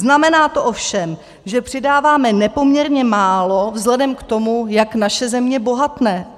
Znamená to ovšem, že přidáváme nepoměrně málo vzhledem k tomu, jak naše země bohatne.